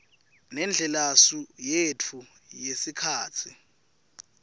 nendlelasu yetfu yesikhatsi